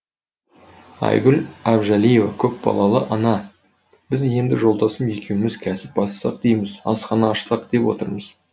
айгүл әбжалиева көпбалалы ана біз енді жолдасым екеуміз кәсіп бастасақ дейміз асхана ашсақ деп отырмыз